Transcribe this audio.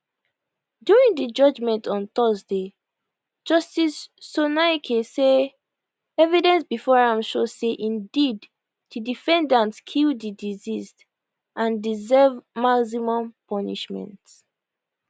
during di judgment on thursday justice sonaike say evidence before am show say indeed di defendant kill di deceased and deserve maximum punishment